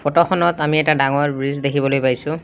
ফটোখনত আমি এটা ডাঙৰ ব্ৰিজ দেখিবলৈ পাইছোঁ।